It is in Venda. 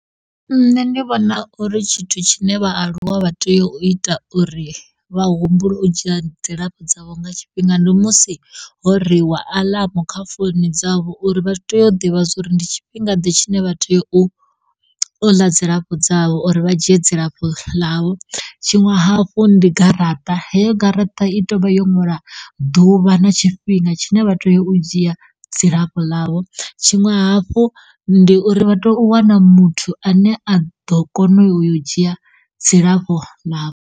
Nṋe ndi vhona uri tshithu tshine vhaaluwa vha teyo u ita uri vha humbule u dzhia dzilafho dzavho nga tshifhinga ndi musi ho reiwa aḽamu kha founu dzavho uri vha teyo u ḓivha uri ndi tshifhinga tshine vha tea u, uḽa dzilafho dzavho uri vha dzhia dzilafho ḽavho tshiṅwe hafhu ndi garaṱa heyo garaṱa i toyovha yo ṅwala ḓuvha na tshifhinga tshine vha toyo u dzhia dzilafho ḽavho tshiṅwe hafhu ndi uri vha toyo u wana muthu ane a ḓo kona u yo u dzhia dzilafho ḽavho.